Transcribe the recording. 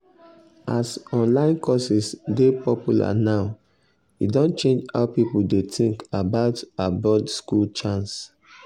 as online courses dey popular now e don change how people dey think about abroad school chance.